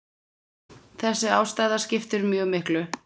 Þessi ástæða skiptir mjög miklu.